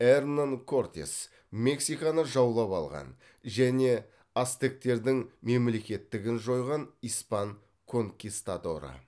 эрнан кортес мексиканы жаулап алған және ацтектердің мемлекеттігін жойған испан конкистадоры